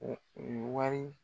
u ye wari